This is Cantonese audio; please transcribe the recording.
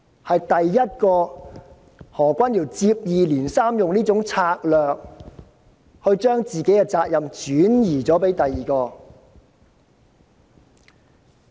何君堯議員接二連三地以此策略把自己的責任轉移他人。